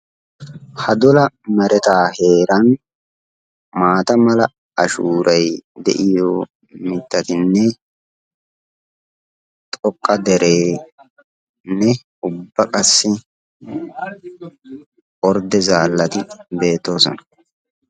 Ha dola meretaa heeran maata mala ashuuray de'iyo mitattinne xoqqa dereenne ubba qassi ordde zaallati beetoosona.